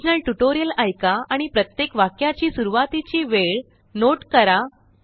original tutorial ऐका आणि प्रत्येक वाक्याची सुरुवातीची वेळ नोट करा